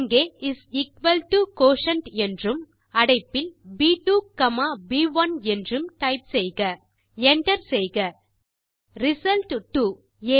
இங்கே is equal to quotient என்றும் அடைப்பில் ப்2 காமா ப்1 என்றும் டைப் செய்க Enter செய்க ரிசல்ட் 2